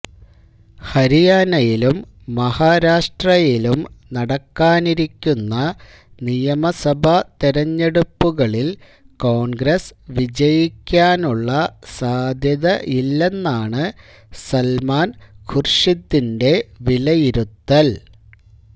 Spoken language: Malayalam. ഹരിയാനയിലും മഹാരാഷ്ട്രയിലും നടക്കാനിരിക്കുന്ന നിയമസഭാ തെരഞ്ഞെടുപ്പുകളില് കോണ്ഗ്രസ് വിജയിക്കാനുള്ള സാധ്യതയില്ലെന്നാണ് സല്മാന് ഖുര്ഷിദിന്റെ വിലയിരുത്തല്